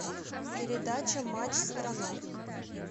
передача матч страна